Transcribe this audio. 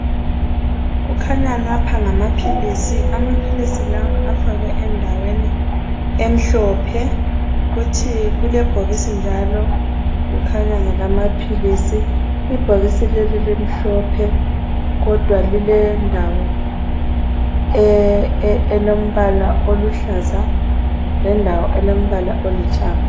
Kukhanya lapha ngamapilisi. Amapilisi lawa afakwe endaweni emhlophe. Kuthi kulebhokisi njalo elimhlophe kukhanya ngalamapilisi. Ibhokisi leli limhlophe kodwa lilendawo elombala oluhlaza, lendawo elombala olithanga.